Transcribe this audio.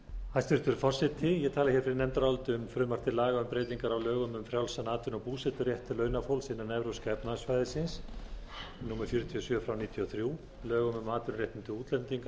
hæstvirtur forseti ég tala fyrir nefndaráliti um frumvarp til laga um breytingu á lögum um frjálsan atvinnu og búseturétt launafólks innan evrópska efnahagssvæðisins númer fjörutíu og sjö nítján hundruð níutíu og þremur lögum um atvinnuréttindi útlendinga